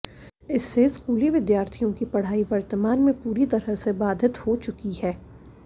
इससे स्कूली विद्यार्थियों की पढ़ाई वर्तमान में पूरी तरह से बाधित हो चुकी है